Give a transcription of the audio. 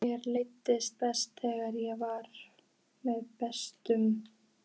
Mér leið best þegar ég var með byssuna.